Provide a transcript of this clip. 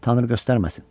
Tanrı göstərməsin.